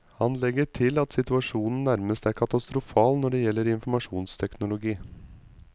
Han legger til at situasjonen nærmest er katastrofal når det gjelder informasjonsteknologi.